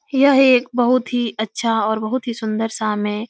यह एक बहुत ही अच्छा और बहुत ही सुन्दर शाम है।